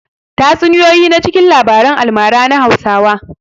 Tatsuniya na cikin labaran almara na Hausawa.